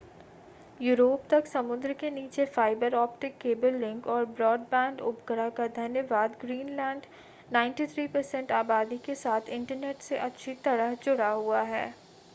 Europe तक समुद्र के नीचे फाइबर ऑप्टिक केबल लिंक और ब्रॉडबैंड उपग्रह का धन्यवाद ग्रीनलैंड 93% आबादी के साथ इंटरनेट से अच्छी तरह से जुड़ा हुआ है